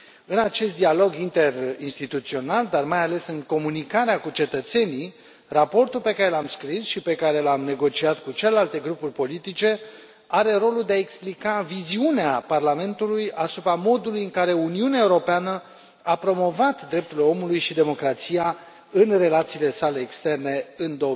În acest dialog interinstituțional, dar mai ales în comunicarea cu cetățenii, raportul pe care l am scris și pe care l am negociat cu celelalte grupuri politice are rolul de a explica viziunea Parlamentului asupra modului în care Uniunea Europeană a promovat drepturile omului și democrația în relațiile sale externe în